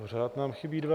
Pořád nám chybí dva...